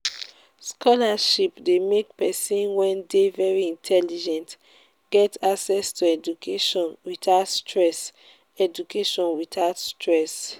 scholarship de make persin wey de very intelligent get access to education without stress education without stress